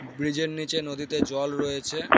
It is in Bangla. ব্রীজ -এর নীচে নদীতে জল রয়েছে।